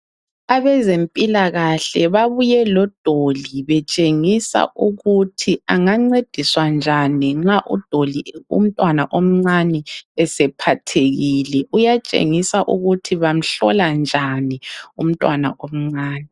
Abezempilakahle babuye lodoli betshengisa ukuthi angancediswa njani nxa umntwana omncane esephathekile, kuyatshengisa ukuthi bamhlola njani umntwana omncane.